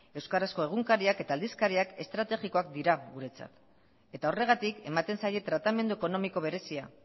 euskarazko egunkariak eta aldizkariak estrategikoak dira guretzat eta horregatik ematen zaie tratamendu ekonomiko berezia